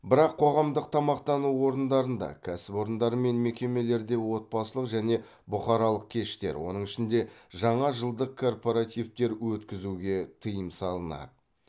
бірақ қоғамдық тамақтану орындарында кәсіпорындар мен мекемелерде отбасылық және бұқаралық кештер оның ішінде жаңа жылдық корпоративтер өткізуге тыйым салынады